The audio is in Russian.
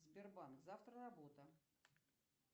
сбербанк завтра работа